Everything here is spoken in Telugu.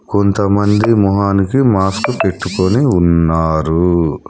కొంతమంది మొహానికి మాస్క్ పెట్టుకొని ఉన్నారు.